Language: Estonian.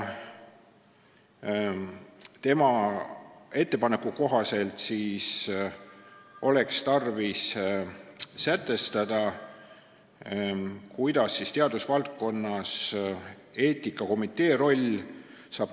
Tema arvates oleks tarvis sätestada, kuidas on teadusvaldkonnas täidetud eetikakomitee roll.